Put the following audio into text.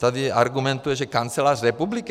Tady argumentuje, že kancelář republiky.